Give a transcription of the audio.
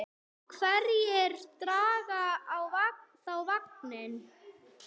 En hverjir draga þá vagninn?